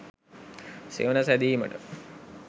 සෙවන සැදීමට